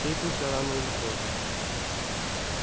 встретимся рано или поздно